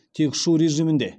тек ұшу режимінде